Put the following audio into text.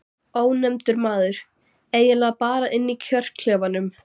Ónefndur maður: Eiginlega bara inni í kjörklefanum?